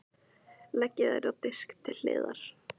Leggið þær á disk til hliðar.